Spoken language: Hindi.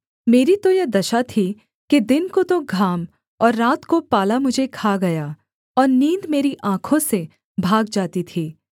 मेरी तो यह दशा थी कि दिन को तो घाम और रात को पाला मुझे खा गया और नींद मेरी आँखों से भाग जाती थी